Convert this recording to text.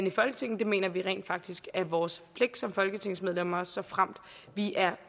i folketinget det mener vi rent faktisk er vores pligt som folketingsmedlemmer såfremt vi er